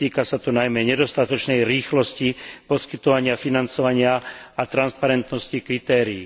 Týka sa to najmä nedostatočnej rýchlosti poskytovania financovania a transparentnosti kritérií.